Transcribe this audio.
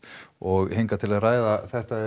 og hingað til að ræða þetta